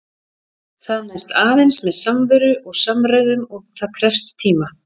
Það næst aðeins með samveru og samræðum- og það krefst tíma.